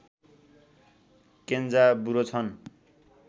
Kenzaburo छन्